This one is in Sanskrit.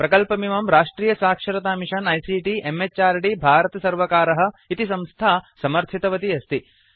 प्रकल्पमिमं राष्ट्रियसाक्षरतामिषन आईसीटी म्हृद् भारतसर्वकारः इति संस्था समर्थितवती अस्ति